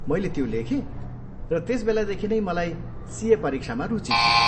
मैले त्यो लेखेँ र त्यसबेलादेखि नै मलाई सिए परीक्षामा रुचि थियो।